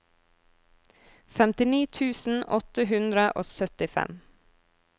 femtini tusen åtte hundre og syttifem